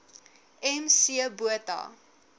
m c botha